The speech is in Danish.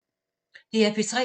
DR P3